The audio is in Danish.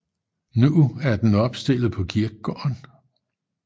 Nu er den opstillet på kirkegården